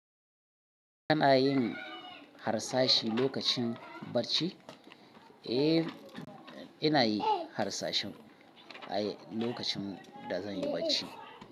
Kana yin harsashi lokacin bacci? Eh, ina yi harsashi lokacin da zan yi bacci.